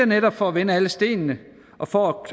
netop for at vende alle sten og for at